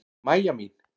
Mæja mín!